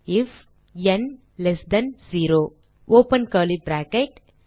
அடுத்த வரியில் எழுதுக ஐஎஃப் ந் 0 ஒப்பன் கர்லி பிராக்கெட்